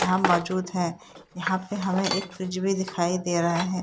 मौजूद है यहाँ पे हमें एक फ्रिज भी दिखाई दे रहा है।